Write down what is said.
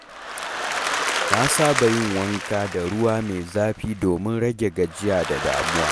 Na saba yin wanka da ruwa mai zafi domin rage gajiya da damuwa.